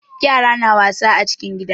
Yara na wasa a cikin gida.